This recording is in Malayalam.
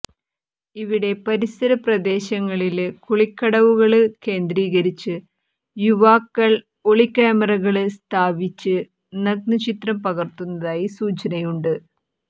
ഇവിടെ പരിസരപ്രദേശങ്ങളില് കുളിക്കടവുകള് കേന്ദ്രീകരിച്ച് യുവാക്കൾ ഒളിക്യാമറകള് സ്ഥാപിച്ച് നഗ്ന ചിത്രം പകര്ത്തുന്നതായി സൂചനയുണ്ട്